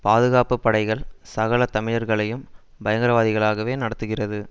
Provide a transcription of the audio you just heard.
பாதுகாப்பு படைகள் சகல தமிழர்களையும் பயங்கர வாதிகளாகவே நடத்துகிறது